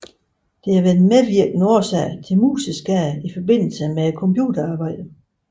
Det har været en medvirkende årsag til museskader i forbindelse med computerarbejde